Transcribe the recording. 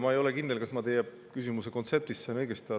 Ma ei ole kindel, kas ma teie küsimuse kontseptist sain õigesti aru.